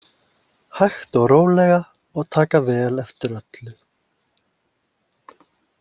Hægt og rólega og taka vel eftir öllu.